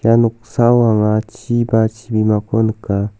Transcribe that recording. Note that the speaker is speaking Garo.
ia noksao anga chi ba chimako nika.